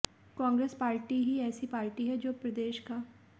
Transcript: Congress party ही ऐसी party है जो प्रदेश का